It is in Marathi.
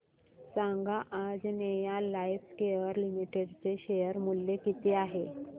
सांगा आंजनेया लाइफकेअर लिमिटेड चे शेअर मूल्य किती आहे